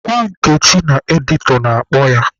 Gwa Nkechi na editọ na-akpọ ya.